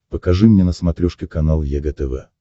покажи мне на смотрешке канал егэ тв